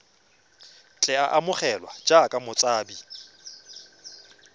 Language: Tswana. tle a amogelwe jaaka motshabi